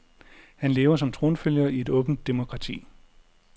Han lever som tronfølger i et åbent demokrati.